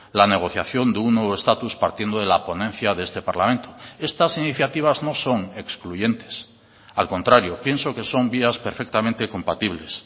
la negociación de un nuevo estatus partiendo de la ponencia de este parlamento estas iniciativas no son excluyentes al contrario pienso que son vías perfectamente compatibles